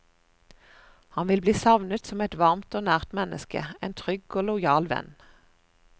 Han vil bli savnet som et varmt og nært menneske, en trygg og lojal venn.